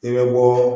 I bɛ bɔ